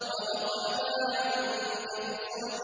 وَوَضَعْنَا عَنكَ وِزْرَكَ